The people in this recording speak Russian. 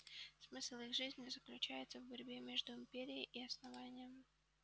смысл их жизни заключается в борьбе между империей и основанием